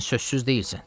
Sən sözsüz deyilsən.